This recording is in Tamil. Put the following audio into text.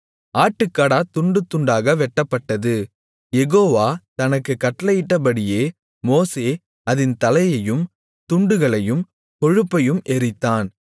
ஆட்டுக்கடா துண்டுதுண்டாக வெட்டப்பட்டது யெகோவா தனக்குக் கட்டளையிட்டபடியே மோசே அதின் தலையையும் துண்டுகளையும் கொழுப்பையும் எரித்தான்